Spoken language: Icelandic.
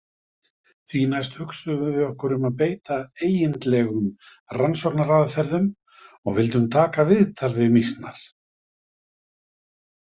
Því næst hugsuðum við okkur að beita eigindlegum rannsóknaraðferðum og vildum taka viðtal við mýsnar.